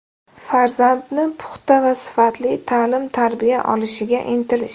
Farzandi puxta va sifatli ta’lim-tarbiya olishiga intilish.